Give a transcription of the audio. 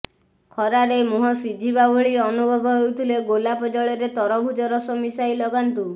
ଖରାରେ ମୁହଁ ସିଝିବା ଭଳି ଅନୁଭବ ହେଉଥିଲେ ଗୋଲାପ ଜଳରେ ତରଭୂଜ ରସ ମିଶାଇ ଲଗାନ୍ତୁ